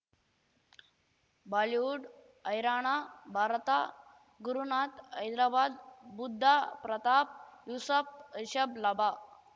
Bollywood Haryana Bharat Gurunath Hyderabad Buddha Pratap Yusuf Rishabh ಲಭ